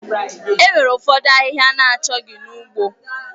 Enwere ụfọdụ ahịhịa na-achọghị na ugbo.